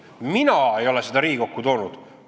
Mina ei ole seda Riigikokku toonud.